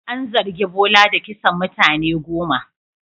An zargi Bola da kisan mutane goma.